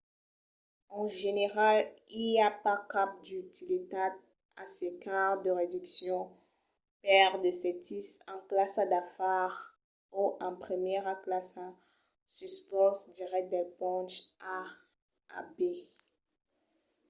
en general i a pas cap d'utilitat a cercar de reduccions per de sètis en classa d'afars o en primièra classa suls vòls dirèctes del ponch a a b